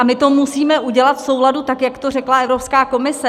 A my to musíme udělat v souladu tak, jak to řekla Evropská komise.